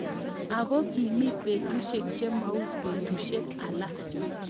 Ako kimi betusiek chemau betueiek alak.